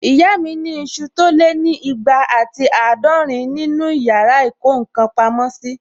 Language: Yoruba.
Ìyá mi ni isu tó lé ní ìgbà àti àádọ́rin nínu yàrá ìkó ǹkan pamọ́ sí